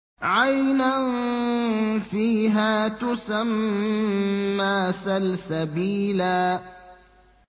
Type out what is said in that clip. عَيْنًا فِيهَا تُسَمَّىٰ سَلْسَبِيلًا